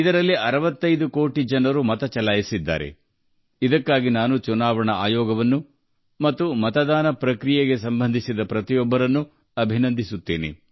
ಇದಕ್ಕಾಗಿ ನಾನು ಚುನಾವಣಾ ಆಯೋಗವನ್ನು ಮತ್ತು ಮತದಾನ ಪ್ರಕ್ರಿಯೆಯಲ್ಲಿ ತೊಡಗಿರುವ ದೇಶದ ಪ್ರತಿಯೊಬ್ಬರನ್ನು ಅಭಿನಂದಿಸುತ್ತೇನೆ